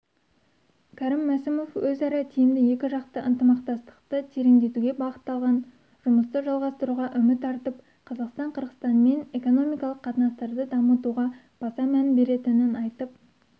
кәрім мәсімов өзара тиімді екіжақты ынтымақтастықты тереңдетуге бағытталған жұмысты жалғастыруға үміт артып қазақстан қырғызстанмен экономикалық қатынастарды дамытуға баса мән беретінін айтып